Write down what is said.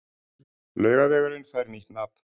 Laugavegurinn fær nýtt nafn